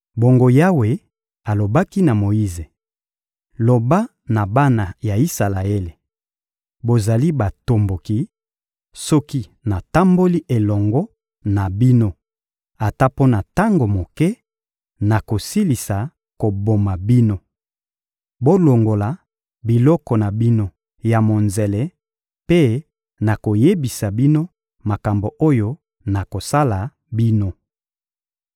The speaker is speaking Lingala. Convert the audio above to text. Bongo Yawe alobaki na Moyize: — Loba na bana ya Isalaele: «Bozali batomboki; soki natamboli elongo na bino ata mpo na tango moke, nakosilisa koboma bino. Bolongola biloko na bino ya monzele, mpe nakoyebisa bino makambo oyo nakosala bino.»